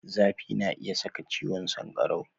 Zafi na iya saka ciwon sankarau.